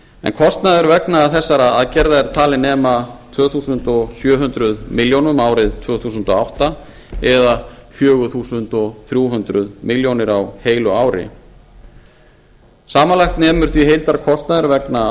en kostnaðurinn vegna þessara aðgerða er talinn nema tvö þúsund sjö hundruð milljónir árið tvö þúsund og átta eða fjögur þúsund þrjú hundruð milljónir á heilu ári samanlagt nemur því heildarkostnaður vegna